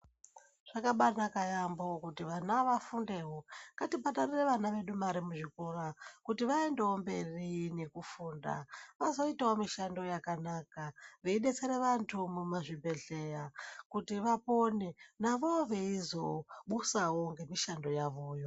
Zvakabaanaka yaampho kuti vana vafundewo. Ngatibhadharire vana vedu mare muzvikora, kuti vaendewo mberi nekufunda, vazoitawo mishando yakanaka, veidetsere vantu mumazvibhedhlera kuti vapone, nazvowo veizobusawo ngemishando yavoyo.